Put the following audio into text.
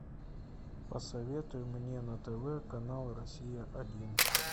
посоветуй мне на тв канал россия один